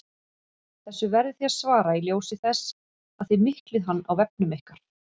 Þessu verðið þið að svara í ljósi þess að þið miklið hann á vefnum ykkar!